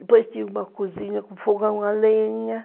Depois tinha uma cozinha com fogão a lenha.